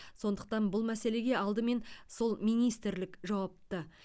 сондықтан бұл мәселеге алдымен сол министрлік жауапты